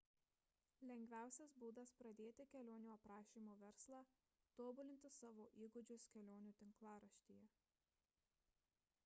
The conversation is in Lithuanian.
lengviausias būdas pradėti kelionių aprašymo verslą – tobulinti savo įgūdžius kelionių tinklaraštyje